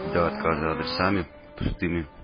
до отказа адресами пустыми